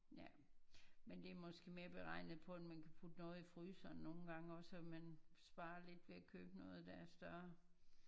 Ja men det er måske mere beregnet på at man kan putte noget i fryseren nogen gange også og man sparer lidt noget ved at købe noget der er større